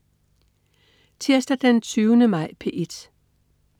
Tirsdag den 20. maj - P1: